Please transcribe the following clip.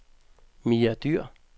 Mia Dyhr